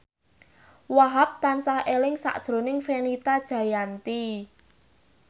Wahhab tansah eling sakjroning Fenita Jayanti